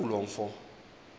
kaloku lo mfo